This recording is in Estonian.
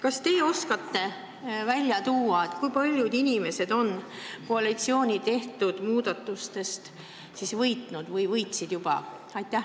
Kas te oskate välja tuua, kui paljud inimesed on koalitsiooni tehtud muudatustest võitnud?